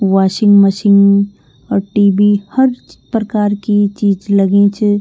Washing machine और TV. हर च प्रकार की चीज लगीं च।